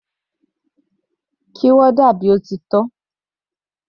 Kí warder bí ó ti tọ́.